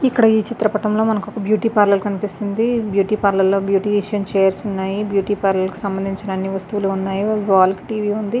ఇక్కడ ఈ చిత్రపటంలో మనకు ఒక బ్యూటీ పార్లర్ కనిపిస్తుంది బ్యూటీ పార్లర్ లో బ్యూటిషన్ చైర్స్ ఉన్నాయి. బ్యూటీ పార్లర్ కి సంబంధించిన అన్ని వస్తువులు ఉన్నాయి. వాల్ కి టీవీ ఉంది.